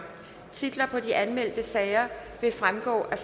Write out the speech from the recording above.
titler på de anmeldte sager vil fremgå af